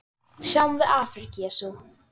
Sjáum við afrek Jesú?